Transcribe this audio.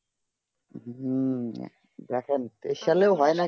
হম দেখেন এই সালে হয়ে না কি